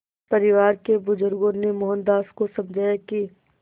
परिवार के बुज़ुर्गों ने मोहनदास को समझाया कि